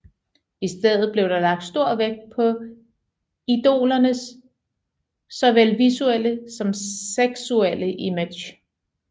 I stedet blev der lagt stor vægt på idolernes såvel visuelle som seksuelle image